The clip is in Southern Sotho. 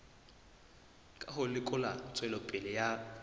ka ho lekola tswelopele ya